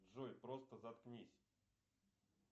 джой просто заткнись